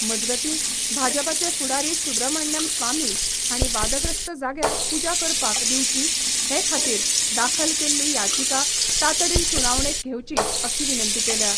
मजगती भाजपाचे फुडारी सुब्रमण्यम स्वामी हाणी वादग्रस्त जाग्यार पुजा करपाक दिवची, हे खातीर दाखल केल्ली याचिका तातडीन सुनावणेक घेवची, अशी विनंती केल्या.